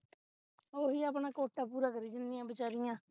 ਉਹ ਹੀ ਆਪਣਾ quota ਪੂਰਾ ਕਰੀ ਜਾਂਦੀਆਂ ਬੇਚਾਰਿਆਂ